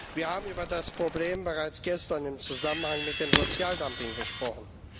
Wir haben über das Problem bereits gestern im Zusammenhang mit dem Sozialdumping gesprochen.